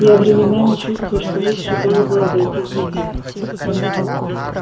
я временами чувствую что лучше было бы обойтись без них